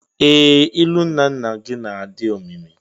Ee! Ilu nnanna gị na-adị omimi.